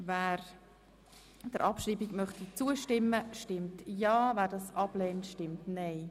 Wer der Abschreibung zustimmt, stimmt ja, wer diese ablehnt, stimmt nein.